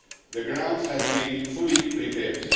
The ground has been fully prepared.